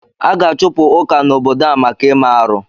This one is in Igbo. A ga-achụpụ Ụka n'obodo a maka ime arụ.